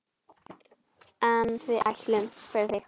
En við ætlum, fyrir þig.